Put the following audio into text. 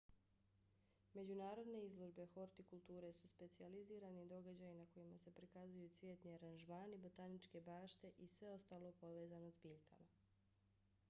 međunarodne izložbe hortikulture su specijalizirani događaji na kojima se prikazuju cvjetni aranžmani botaničke bašte i sve ostalo povezano s biljkama